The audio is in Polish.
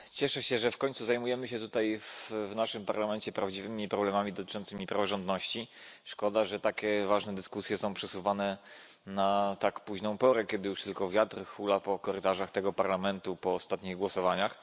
Panie Przewodniczący! Cieszę się, że w końcu zajmujemy się tutaj, w naszym parlamencie, prawdziwymi problemami dotyczącymi praworządności. Szkoda, że takie ważne dyskusje są przesuwane na tak późną porę, kiedy już tylko wiatr hula po korytarzach parlamentu po ostatnich głosowaniach.